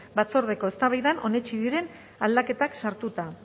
batzordeko eztabaidan onetsi diren aldaketak sartuta